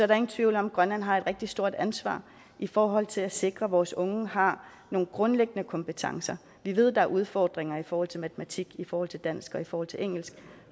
der ingen tvivl om at grønland har et rigtig stort ansvar i forhold til at sikre at vores unge har nogle grundlæggende kompetencer vi ved at der er udfordringer i forhold til matematik i forhold til dansk og i forhold til engelsk